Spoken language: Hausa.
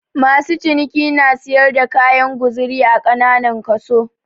Masu ciniki na siyar da kayan guzuri a kananan kaso.